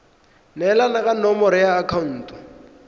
neelana ka nomoro ya akhaonto